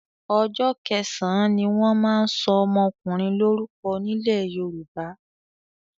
Ọjọ́ kẹsàn-án ni wọ́n máa ń sọ ọmọkùnrin lórúko nílẹ̀ Yorùbá.